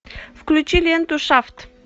включи ленту шафт